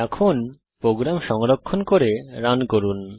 এখন প্রোগ্রাম সংরক্ষণ করে রান করুন